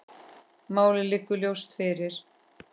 Málið liggur ljóst fyrir.